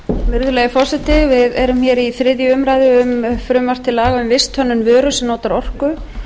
virðulegi forseti við erum hér í þriðju umræðu um frumvarp til laga um visthönnun vöru sem notar orku